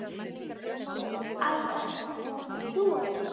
Æ, ert þetta þú elskan?